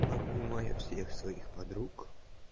обнимаю всех своих подруг